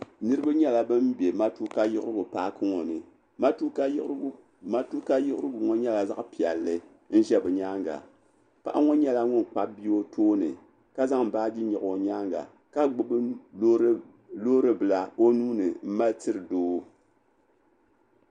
Niriba nyɛla ban be matuka yiɣirigu paaki ŋɔ ni matuka yiɣirigu ŋɔ nyɛla zaɣ'piɛlli n-ʒe bɛ nyaaŋa paɣa ŋɔ nyɛla ŋun kpabi bia o tooni ka zaŋ baaji nyaɣi o nyaaŋa ka gbubi loori bila o nuu ni m-mali tiri doo.